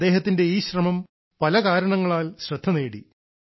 അദ്ദേഹത്തിന്റെ ഈ ശ്രമം പല കാരണങ്ങളാൽ ശ്രദ്ധനേടി